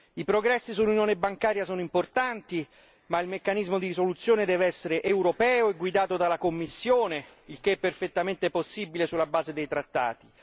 I progressi sull'Unione bancaria sono importanti, ma il meccanismo di risoluzione deve essere europeo e guidato dalla Commissione il che è perfettamente possibile sulla base dei trattati.